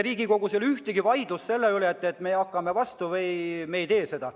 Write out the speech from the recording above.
Riigikogus ei ole sel juhul mingit vaidlust, kas me hakkame vastu või me ei tee seda.